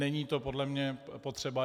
Není to podle mě potřeba.